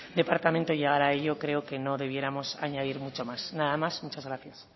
departamento llegar a ello creo que no debiéramos añadir mucho más nada más y muchas gracias